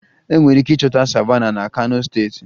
Enwere ike ịchọta Savannahs na kano steeti